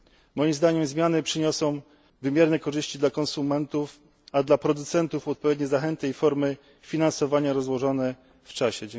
Moim zdaniem zmiany przyniosą wymierne korzyści dla konsumentów, a dla producentów odpowiednie zachęty i formy finansowania rozłożone w czasie.